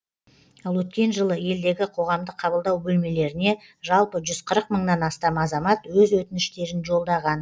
ал өткен жылы елдегі қоғамдық қабылдау бөлмелеріне жалпы жүз қырық мыңнан астам азамат өз өтініштерін жолдаған